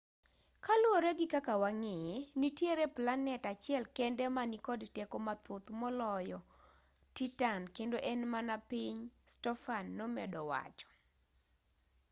kaluwore gi kaka wang'eye nitiere planet achiel kende ma nikod teko mathoth maloyo titan kendo en mana piny stofan nomedo wacho